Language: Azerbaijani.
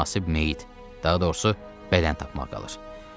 Təkcə münasib meyit, daha doğrusu bədən tapmaq qalır.